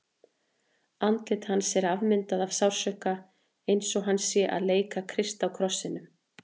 Andlit hans er afmyndað af sársauka, eins og hann sé að leika Krist á krossinum.